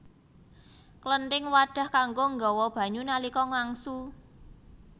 Klenthing wadhah kanggo nggawa banyu nalika ngangsu